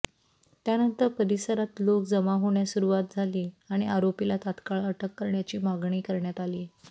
त्यानंतर परिसरात लोकं जमा होण्यास सुरुवात झाली आणि आरोपीला तात्काळ अटक करण्याची मागणी करण्यात आली